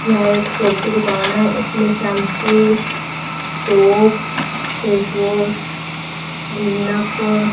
यह एक शॉप की दुकान है इसमें शैंपू शॉप फेसवॉश क्लीनअप --